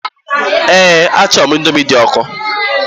Eé, achọrọ m Indomi dị ọkụ.